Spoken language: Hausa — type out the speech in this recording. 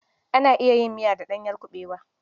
Ana iya yin miya da ɗanyen kuɓewa.